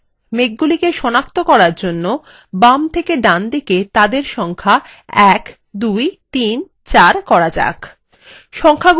মেঘগুলিকে সনাক্ত করার জন্য বাম থেকে ডানে তাদের সংখ্যা ১ ২ ৩ ৪ করা যাক